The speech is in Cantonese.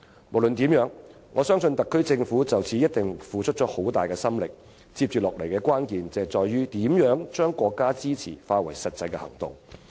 無論如何，我相信特區政府已就此付出很大心力，接下來的關鍵在於如何把國家的支持化為實際行動。